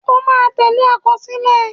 O máa tẹ́lẹ̀ àkọsílẹ̀.